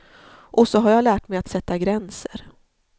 Och så har jag lärt mig att sätta gränser.